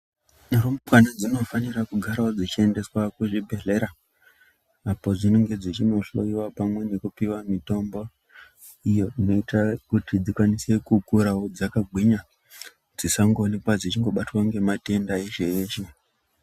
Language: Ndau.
Rumbwana dzinofanira kugarawo dzichiendeswa kuzvibhedhlera apo dzinonga nmdzichinohloiwa pamwe nekupiwa mitombo iyo inoita kuti dzikwanise kukurawo dzakagwinya dzisangoonekwa dzichingobatwa ngematenda eshe eshe.